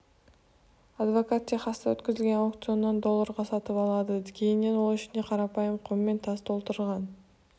адвокат техаста өткізілген аукционнан долларға сатып алады кейіннен ол ішіне қарапайым құм мен тас толтырылған